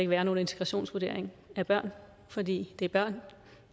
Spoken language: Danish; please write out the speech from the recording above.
være nogen integrationsvurdering af børn fordi det er børn og